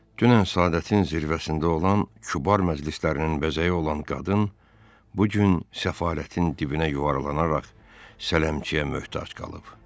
Dünən səadətin zirvəsində olan, kübar məclislərinin bəzəyi olan qadın bu gün səfalətin dibinə yuvarlanaraq sələmçiyə möhtac qalıb.